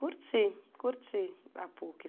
Curti, curti a Puc.